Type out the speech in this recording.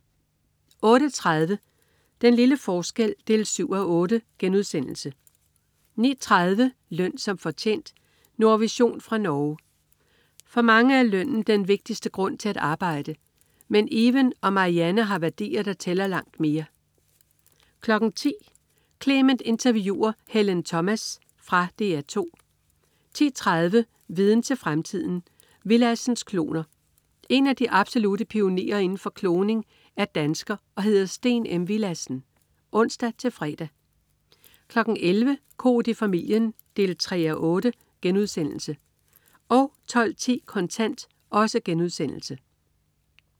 08.30 Den lille forskel 7:8* 09.30 Løn som fortjent. Nordvision fra Norge. For mange er lønnen den vigtigste grund til at arbejde, men Even og Marianne har værdier, der tæller langt mere 10.00 Clement interviewer Helen Thomas. Fra DR 2 10.30 Viden til fremtiden. Willadsens kloner. En af de absolutte pionerer inden for kloning er dansker og hedder Steen M. Willadsen (ons-fre) 11.00 Koht i familien 3:8* 12.10 Kontant*